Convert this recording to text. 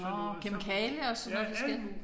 Nåh kemikalier og sådan noget forskelligt